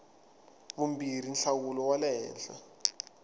vumbirhi nhlawulo wa le henhla